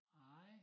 Nej